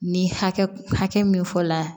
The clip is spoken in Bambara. Ni hakɛ min fɔla